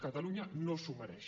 catalunya no s’ho mereix